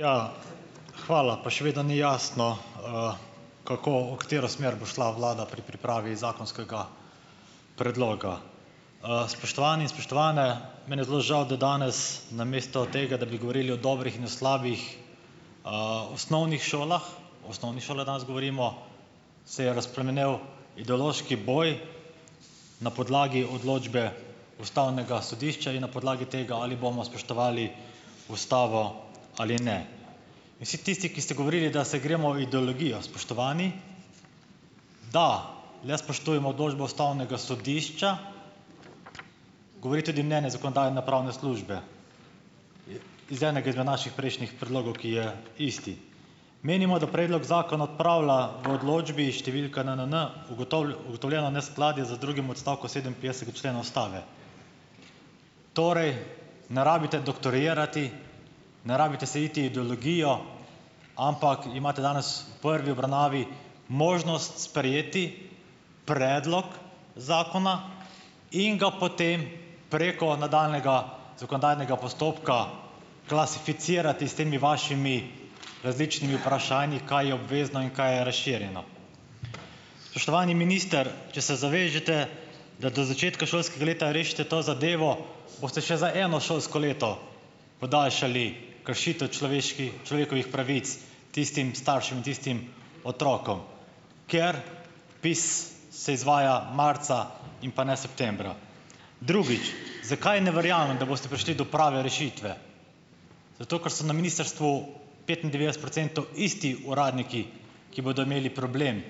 Ja, hvala, pa še vedno ni jasno, kako, v katero smer bo šla vlada pri pripravi zakonskega predloga. Spoštovani in spoštovane, meni je zelo žal, da danes namesto tega, da bi govorili o dobrih in o slabih, osnovnih šolah, o osnovnih šolah danes govorimo, se je razplamenel ideološki boj na podlagi odločbe ustavnega sodišča in na podlagi tega, ali bomo spoštovali ustavo ali ne. In vsi tisti, ki ste govorili, da se gremo ideologijo. Spoštovani, da, le spoštujemo odločbo ustavnega sodišča, govori tudi mnenje zakonodajno-pravne službe, iz enega izmed naših prejšnjih predlogov, ki je isti: "Menimo, da predlog zakona odpravlja v odločbi številka n, n, n, ugotovljeno neskladje z drugim odstavkom sedeminpetdesetega člena ustave." Torej, ne rabite doktorirati, ne rabite se iti ideologijo, ampak imate danes v prvi obravnavi možnost sprejeti predlog zakona in ga potem preko nadaljnjega zakonodajnega postopka, klasificirati s temi vašimi različnimi vprašanji, kaj je obvezno in kaj je razširjeno. Spoštovani minister, če se zavežete, da do začetka šolskega leta rešite to zadevo, boste še za eno šolsko leto podaljšali kršitev človeških, človekovih pravic tistim staršem, tistim otrokom, kateri vpis se izvaja marca in pa ne septembra. Drugič, zakaj ne verjamem, da boste prišli do prave rešitve? Zato ker so na ministrstvu petindevetdeset procentov isti uradniki, ki bodo imeli problem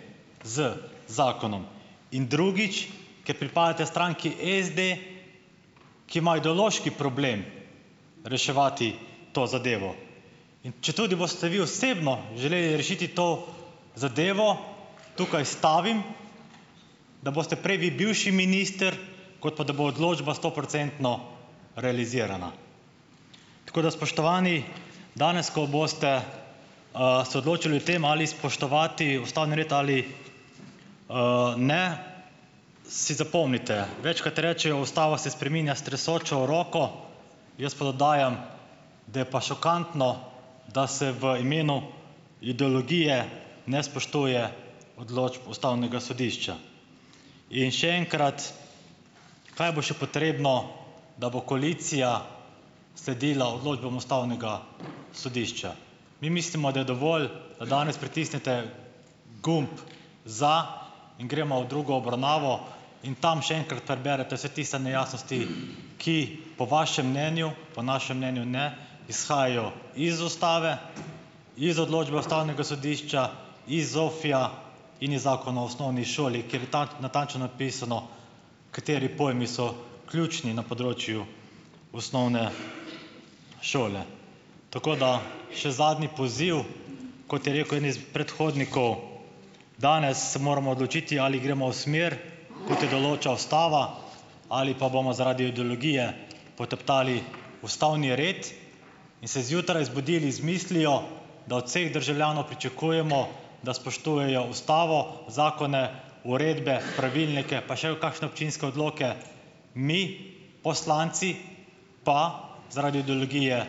z zakonom in drugič, ker pripadate stranki SD, ki ima ideološki problem reševati to zadevo. In četudi boste vi osebno želeli rešiti to zadevo, tukaj stavim, da boste prej vi bivši minister, kot pa da bo odločba stoprocentno realizirana. Tako da spoštovani, danes, ko boste, se odločali o tem, ali spoštovati ustavni red ali, ne, si zapomnite. Večkrat rečejo: "Ustava se spreminja s tresočo roko." Jaz pa dodajam, da je pa šokantno, da se v imenu ideologije ne spoštuje odločb ustavnega sodišča. In še enkrat: Kaj bo še potrebno, da bo koalicija sledila odločbam ustavnega sodišča? Mi mislimo, da je dovolj, da danes pritisnete gumb za in gremo v drugo obravnavo in tam še enkrat preberete vse tiste nejasnosti, ki po vašem mnenju, po našem mnenju, ne, izhajajo iz ustave iz odločbe ustavnega sodišča iz ZOFVI-ja in iz Zakona o osnovni šoli, kjer je tat natančno napisano, kateri pojmi so ključni na področju osnovne šole. Tako da še zadnji poziv, kot je rekel en iz predhodnikov: "Danes se moramo odločiti, ali gremo v smer, kot jo določa ustava, ali pa bomo zaradi ideologije poteptali ustavni red in se zjutraj zbudili z mislijo, da od vseh državljanov pričakujemo, da spoštujejo ustavo, zakone, uredbe, pravilnike, pa še v kakšne občinske odloke, mi, poslanci, pa zaradi ideologije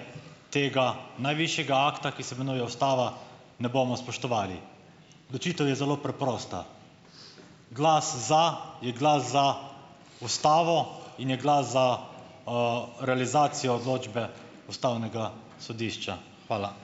tega najvišjega akta, ki se imenuje ustava, ne bomo spoštovali." Odločitev je zelo preprosta. Glas za, je glas za ustavo in je glas za, realizacijo odločbe ustavnega sodišča. Hvala.